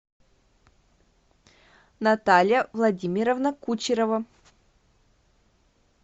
наталья владимировна кучерова